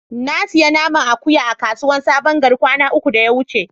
Na siya naman akuyan a kasuwa sabon gari kwana uku da ya wuce.